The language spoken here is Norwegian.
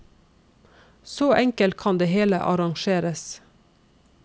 Så enkelt kan det hele arrangeres.